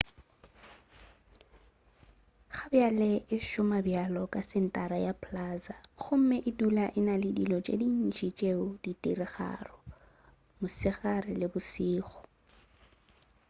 gabjale e šoma bjalo ka sentara ya plaza gomme e dula e na le dilo tše dintši tšeo di diregago mosegare le bošego